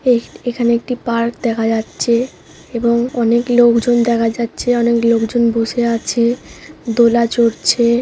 এ এখানে একটি পার্ক দেখা যাচ্ছে। এবং অনেক লোকজন দেখা যাচ্ছে অনেক লোকজন বসে আছে এ। দোলা চড়ছে।